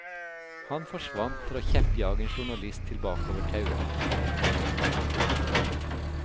Han forsvant for å kjeppjage en journalist tilbake over tauet. punktum